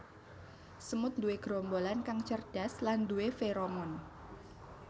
Semut nduwe gerombolan kang cerdas lan nduwé feromon